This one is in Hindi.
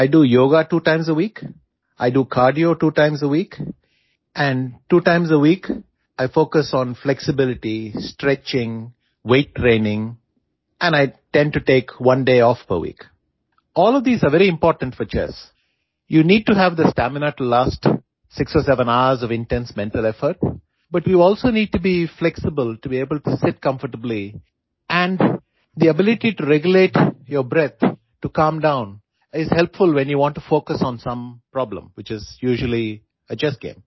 I do yoga two times a week I do cardio two times a week and two times a week I focus on flexibility stretching weight training and I tend to take one day off per week all of these are very important for chess you need to have the stamina to last 6 or 7 hours of intense mental effort but you also need to be flexible to able to seat comfortably and the ability to regulate your breath to calm down is helpful when you want to focus on some problem which is usually a chess game